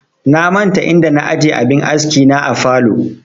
Na manta inda na aje abin aski na a falow